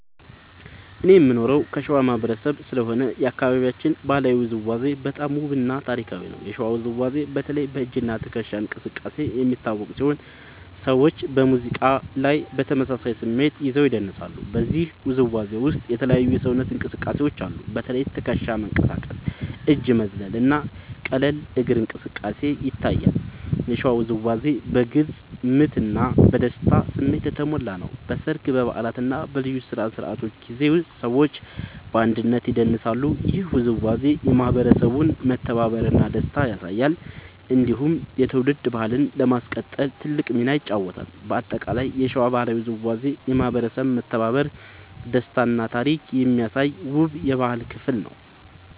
እኔ የምኖረው ከሸዋ ማህበረሰብ ስለሆነ የአካባቢያችን ባህላዊ ውዝዋዜ በጣም ውብ እና ታሪካዊ ነው። የሸዋ ውዝዋዜ በተለይ በ“እጅ እና ትከሻ እንቅስቃሴ” የሚታወቅ ሲሆን ሰዎች በሙዚቃ ላይ በተመሳሳይ ስሜት ይዘው ይደንሳሉ። በዚህ ውዝዋዜ ውስጥ የተለያዩ የሰውነት እንቅስቃሴዎች አሉ። በተለይ ትከሻ መንቀሳቀስ፣ እጅ መዝለል እና ቀላል እግር እንቅስቃሴ ይታያሉ። የሸዋ ውዝዋዜ በግልጽ ምት እና በደስታ ስሜት የተሞላ ነው። በሰርግ፣ በበዓላት እና በልዩ ስነ-ስርዓቶች ጊዜ ሰዎች በአንድነት ይደንሳሉ። ይህ ውዝዋዜ የማህበረሰቡን መተባበር እና ደስታ ያሳያል። እንዲሁም የትውልድ ባህልን ለማስቀጠል ትልቅ ሚና ይጫወታል። በአጠቃላይ የሸዋ ባህላዊ ውዝዋዜ የማህበረሰብ መተባበር፣ ደስታ እና ታሪክ የሚያሳይ ውብ የባህል ክፍል ነው።